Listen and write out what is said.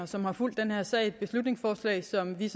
som har fulgt den her sag et beslutningsforslag som vi